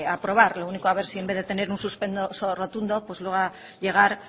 aprobar lo único a ver si en vez de tener un suspenso rotundo logra llegar